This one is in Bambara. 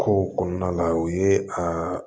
Kow kɔnɔna la o ye aa